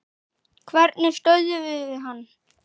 Hvernig stöðvum við hann?